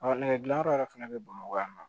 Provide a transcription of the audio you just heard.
nɛgɛdilanyɔrɔ yɛrɛ fana bɛ bamakɔ yan nɔ